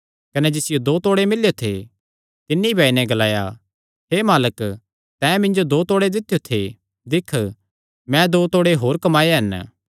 कने जिसियो दो तोड़े मिल्लेयो थे तिन्नी भी आई नैं ग्लाया हे मालक तैं मिन्जो दो तोड़े दित्यो थे दिक्ख मैं दो तोड़े होर कमाये हन